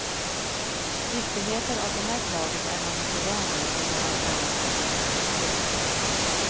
Giftigheter av det slaget är man inte van vid i de här sammanhangen. punkt